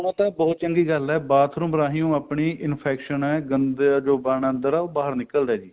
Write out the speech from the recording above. ਹੁਣ ਉਹ ਤਾਂ ਬਹੁਤ ਚੰਗੀ ਗੱਲ ਏ bathroom ਰਹੀ ਉਹ ਆਪਣੀ infection ਏ ਗੰਦਾ ਜੋ ਕਣ ਅੰਦਰ ਏ ਉਹ ਬਾਹਰ ਨਿਕਲਦਾ ਜੀ